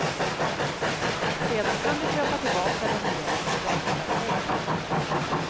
Sedan kan du köpa tillbaka den igen dagen därpå.